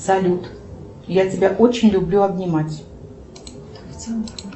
салют я тебя очень люблю обнимать